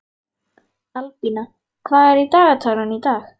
Albína, hvað er í dagatalinu í dag?